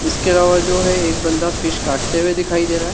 इसके अलावा जो है एक बंदा फिश काटते हुए दिखाई दे रहा है।